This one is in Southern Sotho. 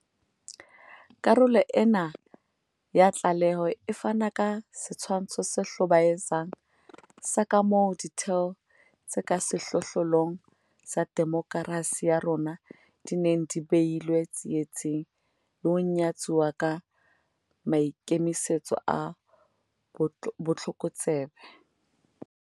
Karolo ena ya tlaleho e fana ka setshwantsho se hlobaetsang sa kamoo ditheo tse ka sehlohlolong tsa demokerasi ya rona di neng di behilwe tsietsing le ho nyatsuwa ka maikemisetso a botlokotsebe.